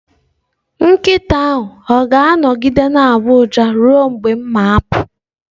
Nkịta ahụ ọ ga-anọgide na-agbọ ụja ruo mgbe m ga-apụ?